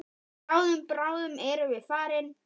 Bráðum, bráðum erum við farin.